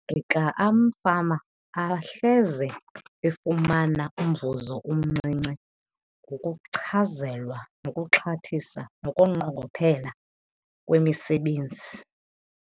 amafama ahleze efumana umvuzo omncinci ngokuchazelwa nokuxhathisa nokunqongophala kwemisebenzi.